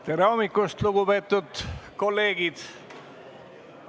Tere hommikust, lugupeetud kolleegid!